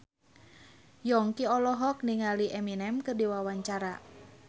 Yongki olohok ningali Eminem keur diwawancara